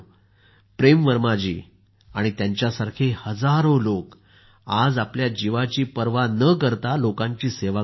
प्रेम वर्मा जी आणि त्यांच्यासारखे हजारो लोक आज आपल्या जीवाची पर्वा न करता लोकांची सेवा करत आहेत